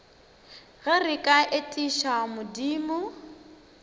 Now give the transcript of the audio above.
ge re ka etiša modimo